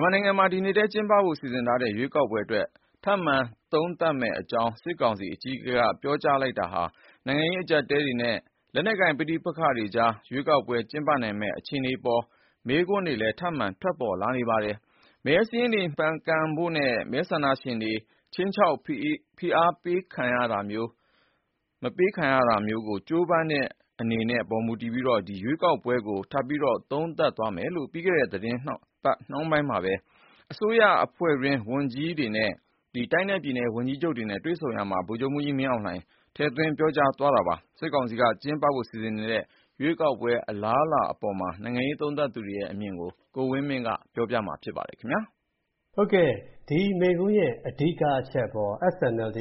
်မာနိုင်ငံမှာ ဒီနှစ်ထဲ ကျင်းပဖို့စီစဉ်ထားတဲ့ ရွေးကောက်ပွဲအတွက် ထပ်မံသုံးသပ်မယ့်အကြောင်း စစ်ကောင်စီအကြီးအကဲကပြောလိုက်တာကြောင့် နိုင်ငံရေးအကျပ်အတည်းတွေနဲ့ လက်နက်ကိုင်ပဋိပက္ခတွေကြား ရွေးကောက်ပွဲကျင်းပနိုင်မယ့် အခြေအနေအပေါ် မေးခွန်းတွေလည်း ထပ်မံထွက်ပေါ်လာနေပါတယ်။ မဲစာရင်းတွေမှန်ကန်ဖို့နဲ့ မဲဆန္ဒရှင်တွေ ခြိမ်းခြောက်ဖိအားပေးတာမခံရဘဲ မဲပေးနိုင်ဖို့ ကြိုးပမ်းနေတဲ့အပေါ်မူတည်ပြီး ရွေးကောက်ပွဲကို ထပ်သုံးသပ်သွားမယ်လို့ ပြီးခဲ့တဲ့ သီတင်းပတ်နှောင်းပိုင်း အစိုးရအဖွဲ့ဝန်ကြီးတွေနဲ့ တိုင်းနဲ့ပြည်နယ် ဝန်ကြီးချုပ်တွေကို မိန့်ခွန်းပြောရာမှာ ဗိုလ်ချုပ်မှူးကြီး မင်းအောင်လှိုင် ထည့်ပြောသွားခဲ့တာပါ။ စစ်ကောင်စီက ကျင်းပဖို့စီစဉ်နေတဲ့ ရွေးကောက်ပွဲ အလားအလာအပေါ် နိုင်ငံရေး သုံးသပ်သူတွေအမြင်ကို ကိုဝင်းမင်းက စုစည်းတင်ပြထားပါတယ်။ ဒီမိန့်ခွန်းရဲ့အဓိကအချက်အပေါ် SNLD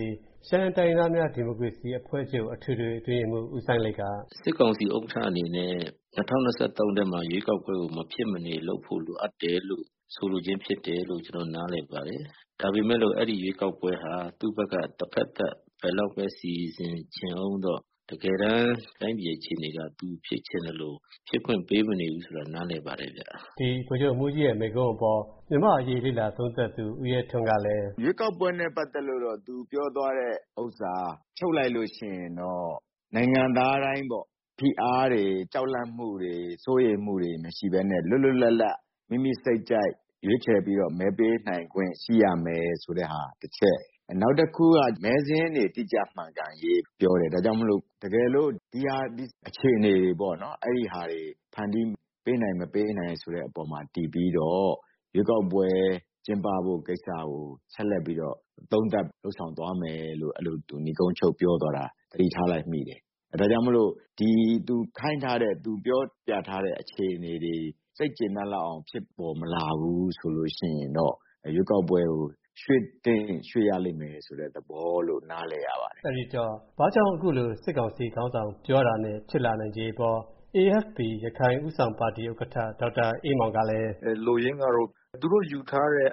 ရှမ်းတိုင်းရင်းသားများ ဒီမိုကရေစီအဖွဲ့ချုပ် အထွေထွေအတွင်းရေးမှူး ဦးစိုင်းလိတ်က အခုလို ပြောပါတယ်။ “စစ်ကောင်စီဥက္ကဋ္ဌအနေနဲ့ ၂၀၂၃ ထဲမှာ ရွေးကောက်ပွဲကို မဖြစ်မနေ လုပ်ဖို့လိုအပ်တယ်လို့ ဆိုလိုခြင်းဖြစ်တယ်လို့ ကျနော်တို့နားလည်ပါတယ်။ ဒါပေမဲ့လို့ အဲဒီရွေးကောက်ပွဲဟာ သူ့ဘက်က တဖက်သတ် ဘယ်လောက်ပဲ စီစဉ်ချင်အုံးတော့ တကယ်တန်းတိုင်းပြည်အခြေအနေက သူဖြစ်ချင်သလို ဖြစ်ခွင့်ပေးမနေဘူးဆိုတာ နားလည်ပါတယ်ဗျ။ ဗိုလ်ချုပ်မှူးကြီးရဲ့မိန့်ခွန်းအပေါ်မြန်မာ့အရေး လေ့လာသုံးသပ်သူ ဦးရဲထွန်းကလည်း အခုလို ပြောပါတယ်။ “ ရွေးကောက်ပွဲနဲ့ပတ်သက်လို့တော့ သူပြောသွားတဲ့ဥစ္စာက ချုပ်လိုက်လို့ရှိရင်တော့ နိုင်ငံသားတိုင်းပေါ့ ဖိအားတွေ၊ ကြောက်လန့်မှုတွေ၊ စိုးရိမ်မှုတွေမရှိဘဲနဲ့ လွတ်လွတ်လပ်လပ် မိမိစိတ်ကြိုက် ရွေးချယ်ပြီးတော့ မဲပေးနိုင်ခွင့် ရှိရမယ်ဆိုတဲ့ဟာ တချက်။ နောက်တခုက မဲစာရင်းတွေ တိကျမှန်ကန်ရေးပြောတယ်။ ဒါကြောင့်မို့ တကယ်လို့ ဒီအခြေအနေတွေကို ဖန်တီး ပေးနိုင်၊ မပေးနိုင်ဆိုတာအပေါ်မှာတည်ပြီးတော့ ရွေးကောက်ပွဲ ကျင်းပဖို့ကိစ္စကို ဆက်လက်ပြီးတော့ သုံးသပ်လုပ်ဆောင်သွားမယ်လို့ - အဲလို နိဂုံးချုပ်ပြောသွားတာ သတိထားလိုက်မိတယ်။ ဒါကြောင့်မို့လို့ သူခိုင်းထားတဲ့၊ သူပြောပြထားတဲ့အခြေအနေတွေ စိတ်ကျေနပ်လောက်အောင် ဖြစ်ပေါ်မလာဘူးဆိုလို့ရှိရင်တော့ ရွေးကောက်ပွဲကို ရွှေ့သင့်ရင်ရွှေ့ရလိမ့်မယ်ဆိုတဲ့သဘောလို့ နားလည်ရပါတယ်။ အဲဒီတော့ ဘာကြောင့် အခုလို စစ်ကောင်စီခေါင်းဆောင်ပြောတာနဲ့ ဖြစ်လာနိုင်ခြေအပေါ် AFP ရခိုင်ဦးဆောင်ပါတီဥက္ကဋ္ဌ ဒေါက်တာအေးမောင်ကလည်း အခုလို ပြောပါတယ်။ “လိုရင်းကတော့ သူတို့ယူထားတဲ့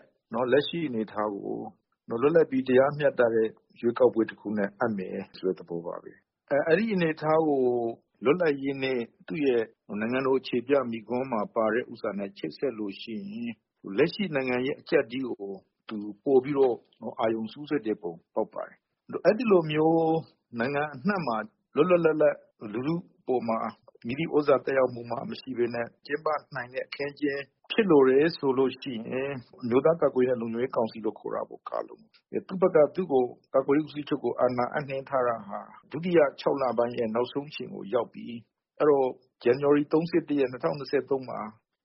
လက်ရှိအနေအထားကို လွတ်လပ်ပြီးတရားမျှတတဲ့ ရွေးကောက်ပွဲတခုနဲ့ အပ်မယ်ဆိုတဲ့သဘောပါပဲ။ အဲဒီအနေအထားကို လွတ်လပ်ရေးနေ့ သူ့ရဲ့နိုင်ငံတော်အခြေပြမိန့်ခွန်းမှာပါတဲ့ဥစ္စာနဲ့ ချိတ်ဆက်လို့ရှိရင် လက်ရှိနိုင်ငံရေးအကျပ်အတည်းကို ပိုပြီးတော့ အာရုံစူးစိုက်တဲ့ပုံပေါက်ပါတယ်။ အဲဒီလိုမျိုး နိုင်ငံအနှံ့မှာ လွတ်လွတ်လပ်လပ် လူထုအပေါ်မှာ မည်သည့်သြဇာသက်ရောက်မှုမှမရှိဘဲနဲ့ ကျင်းပနိုင်တဲ့အခင်းအကျင်းဖြစ်လိုတယ်ဆိုလို့ရှိရင် အမျိုးသားကာကွယ်ရေးအရ လုံခြုံရေးကောင်စီကို ခေါ်တာပေါ့.....ကာလုံ...။ သူ့ဘက်က သူ့ကို- ကာကွယ်ရေးဦးစီးချုပ်ကို အာဏာအပ်နှင်းထားတာဟာ ဒုတိယခြောက်လပတ်ရဲ့ နောက်ဆုံးအချိန်ကိုရောက်ပြီ။ အဲဒီတော့ ဇန်နဝါရီ ၃၁ ရက်၊ ၂၀၂၃ မှာ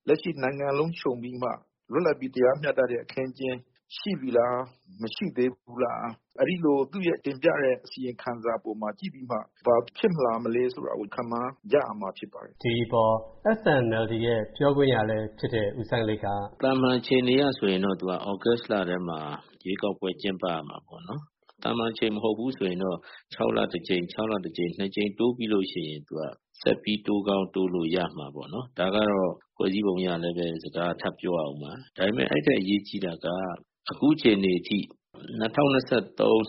လက်ရှိ နိုင်ငံလုံးခြုံပြီးမှ လွတ်လပ်ပြီး တရားမျှတတဲ့အခင်းအကျင်း ရှိပြီလား၊ မရှိသေးဘူးလား။ အဲဒီလို သူ့ရဲ့တင်ပြတဲ့အစီရင်ခံစာအပေါ်မှာကြည့်ပြီးမှ ဘာဖြစ်လာမလဲဆိုတာ ခန့်မှန်းကြရမှာဖြစ်ပါတယ်။” ဒီအပေါ် SNLD ရဲ့ပြောခွင့်ရလည်းဖြစ်တဲ့ဦးစိုင်းလိတ်ကလည်း အခုလို ပြောပါတယ်။ “သာမန်အခြေအနေအရဆိုရင်တော့ သူက သြဂုတ်လထဲမှာ ရွေးကောက်ပွဲ ကျင်းပရမှာပေါ့နော်။ သာမန်အချိန်မဟုတ်ဘူးဆိုရင်တော့ ၆ လတကြိမ်၊ ၆ လတကြိမ် - နှစ်ကြိမ်တိုးပြီးလို့ရှိရင် ဆက်ပြီး တိုးကောင်းတိုးလို့ရမှာပေ့ါနော်။ ဒါကတော့ ဖွဲ့စည်းပုံအရလည်းပဲ စကားကထပ်ပြောရအုံးမှာ။ ဒါပေမဲ့ အဲဒီထက်အရေးကြီးတာက အခုအခြေအနေအထိ ၂၀၂၃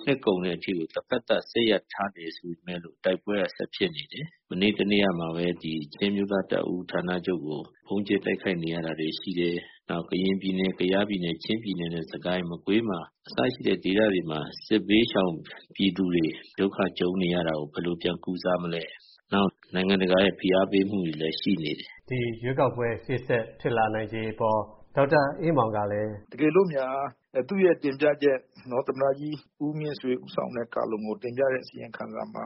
နှစ်ကုန်တဲ့အထိကို တဘက်သတ်စစ်ရပ်ထားတယ်ဆိုပေမဲ့လို့ တိုက်ပွဲဆက်ဖြစ်နေတယ်။ မနေ့တနေ့ကမှပဲ ချင်းအမျိုးသားတပ်ဦးဌာနချုပ်ကို ဗုံးကြဲတိုက်ခိုက်နေတာတွေ ရှိတယ်။ နောက် ကရင်ပြည်နယ်၊ ကယားပြည်နယ်၊ ချင်းပြည်နယ်နဲ့ စစ်ကိုင်းတိုင်းနဲ့ မကွေးမှာ- အစရှိတဲ့ဒေသတွေမှာ စစ်ဘေးရှောင်ပြည်သူတွေ ဒုက္ခကြုံနေရတာကို ဘယ်လိုပြန်ကုစားမလဲ။ နောက် နိုင်ငံတကာရဲ့ဖိအားပေးမှုတွေလည်းရှိနေတယ်။ ဒီရွေးကောက်ပွဲ ရှေ့ဆက်ဖြစ်လာနိုင်ခြေအပေါ် ဒေါက်တာအေးမောင်ကလည်း အခုလို ထောက်ပြပါတယ်။ “တကယ်လို့များ သူ့ရဲ့တင်ပြချက်၊ သမ္မတကြီးဦးမြင့်ဆွေဦးဆောင်တဲ့ကာလုံကို တင်ပြတဲ့အစီရင်ခံစာမှာ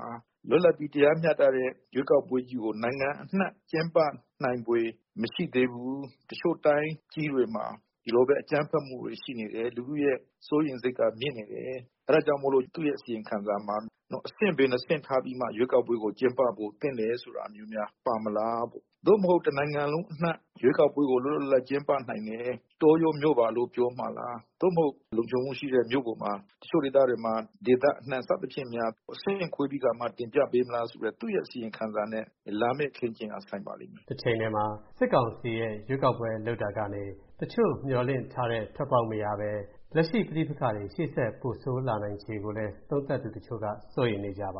လွတ်လပ်ပြီးတရားမျှတတဲ့ရွေးကောက်ပွဲကြီးကို နိုင်ငံအနှံ့ကျင်းပနိုင်ဖွယ်မရှိသေးဘူး၊ အချို့တိုင်းကြီးတွေမှာ ဒီလိုပဲ အကြမ်းဖက်မှုတွေရှိနေတယ်။ လူထုရဲ့စိုးရိမ်စိတ်ကမြင့်နေတယ်။ ဒါကြောင့်မို့လို့ သူ့ရဲ့အစီရင်ခံစာမှာ အဆင့် ဘယ်နှစ်ဆင့်ထားပြီးမှ ရွေးကောက် ပွဲကိုကျင်းပဖို့သင့်တယ်ဆိုတာမျိုးများ ပါမလား...ပေါ့။ သို့မဟုတ် တနိုင်ငံလုံးအနှံ့ ရွေးကောက်ပွဲကို လွတ်လွတ်လပ်လပ်ကျင်းပနိုင်မယ့် တောရောမြို့ပါလို့ ပြောမှာလား။ သို့မဟုတ် လုံခြုံမှုရှိတဲ့ မြို့ပေါ်မှာ၊ တချို့ဒေသတွေမှာ ဒေသအနှံ့ စသဖြင့်များ အဆင့်ဆင့်ခွဲပြီးကာမှ တင်ပြပေးမလားဆိုတဲ့ သူ့ရဲ့အစီရင်ခံစာနဲ့ လာမယ့်အခင်းအကျင်းက ဆိုင်ပါလိမ့်မယ်။ တချိန်တည်းမှာ စစ်ကောင်စီရဲ့ ရွေးကောက်ပွဲလုပ်တာကနေ တချို့မျှော်လင့်ထားတဲ့ထွက်ပေါက်မရဘဲ လက်ရှိပဋိပက္ခတွေ ရှေ့ဆက်ပိုတိုးလာနိုင်ခြေကိုလည်း သုံးသပ်သူတွေက စိုးရိမ်နေကြပ